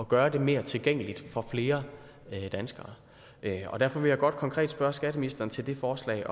gøre det mere tilgængeligt for flere danskere derfor vil jeg godt konkret spørge skatteministeren til det forslag